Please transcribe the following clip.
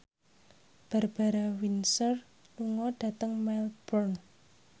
Barbara Windsor lunga dhateng Melbourne